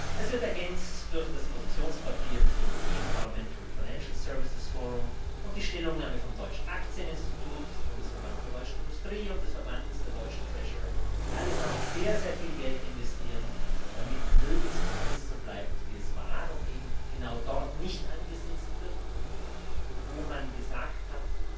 Er wird ergänzt durch das Positionspapier des European Parliamentary Financial Services Forum und die Stellungnahme des Deutschen Aktieninstituts, des Bundesverbandes der deutschen Industrie und des Verbandes der deutschen Treasurer, die allesamt sehr viel Geld investieren, damit möglichst vieles so bleibt, wie es war, und eben genau dort nicht angesetzt wird, wo man gesagt hat,